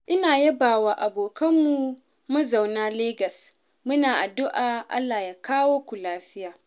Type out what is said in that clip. ina yabawa abokananmu mazauna Legas, muna addu'ar Allah ya kawo ku lafiya.